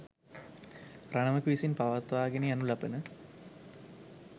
රණවක විසින් පවත්වාගෙන යනු ලබන